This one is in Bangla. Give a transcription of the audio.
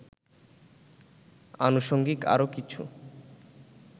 আনুষঙ্গিক আরও কিছু